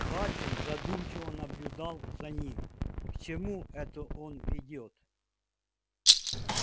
хардин задумчиво наблюдал за ним к чему это он ведёт